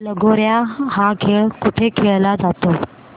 लगोर्या हा खेळ कुठे खेळला जातो